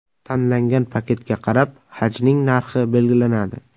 Tanlangan paketga qarab, hajning narxi belgilanadi.